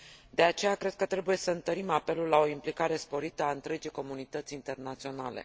De aceea, cred că trebuie să întărim apelul la o implicare sporită a întregii comunități internaționale.